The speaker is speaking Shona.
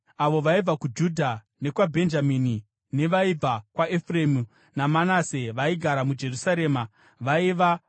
Avo vaibva kuJudha, nevaibva kwaBhenjamini nevaibva kwaEfuremu naManase vaigara muJerusarema vaiva: